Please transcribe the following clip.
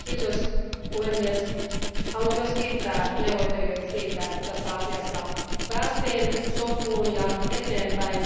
Arvoisa puhemies, haluan myös kiittää neuvottelijoita siitä, että tässä asiassa päästiin sopuun ja eteenpäin.